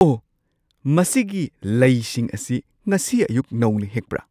ꯑꯣ! ꯃꯁꯤꯒꯤ ꯂꯩꯁꯤꯡ ꯑꯁꯤ ꯉꯁꯤ ꯑꯌꯨꯛ ꯅꯧꯅ ꯍꯦꯛꯄ꯭ꯔꯥ?